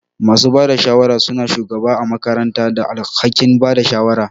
Masu bada shawara suna shugaba ã makaranta da alhakin Bada shawara